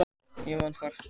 Ég vann þar.